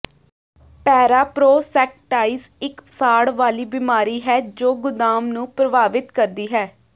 ਪੈਰਾਪ੍ਰੋਸੈਕਟਾਈਸ ਇੱਕ ਸਾੜ ਵਾਲੀ ਬਿਮਾਰੀ ਹੈ ਜੋ ਗੁਦਾਮ ਨੂੰ ਪ੍ਰਭਾਵਿਤ ਕਰਦੀ ਹੈ